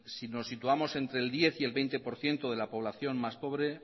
si nos situamos entre el diez y el veinte por ciento de la población más pobre